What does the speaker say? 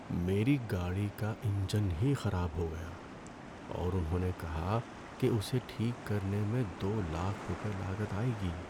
میری گاڑی کا انجن ہی خراب ہو گیا اور انہوں نے کہا کہ اسے ٹھیک کرنے میں دو لاکھ روپے لاگت آئے گی۔